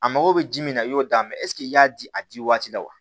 A mago bɛ ji min na i y'o da mɛ ɛseke i y'a di a di waati la wa